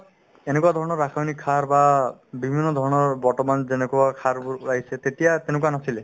এনেকুৱা ধৰণৰ ৰাসয়নিক সাৰ বা বিভিন্ন ধৰণৰ বৰ্তমান যেনেকুৱা সাৰবোৰ ওলাইছে তেতিয়া তেনেকুৱা নাছিলে